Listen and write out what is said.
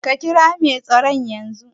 Ka kira mai tsaron yazo